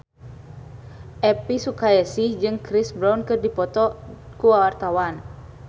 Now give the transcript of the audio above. Elvy Sukaesih jeung Chris Brown keur dipoto ku wartawan